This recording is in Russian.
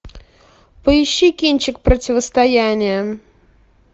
поищи кинчик противостояние